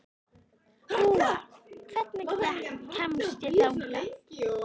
Dúa, hvernig kemst ég þangað?